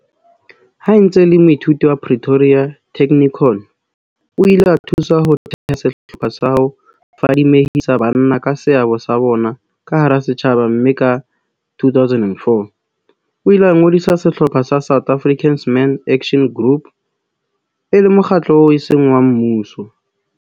Ha e ntse e le moithuti wa Pretoria Technikon, o ile a thusa ho theha sehlopha sa ho fadimehisa banna ka seabo sa bona ka hara setjhaba mme ka 2004, o ile a ngodisa sehlopha sa South African Men's Action Group, SAMAG, e le mokgatlo oo eseng wa mmuso.